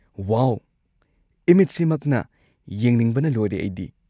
ꯋꯥꯎ! ꯏꯃꯤꯠꯁꯤꯃꯛꯅ ꯌꯦꯡꯅꯤꯡꯕꯅ ꯂꯣꯏꯔꯦ ꯑꯩꯗꯤ꯫